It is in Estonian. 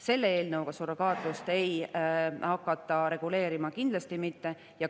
Selle eelnõuga ei hakata surrogaatlust kindlasti mitte reguleerima.